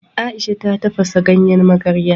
Ai'sha ta tafasa ganyen magarya.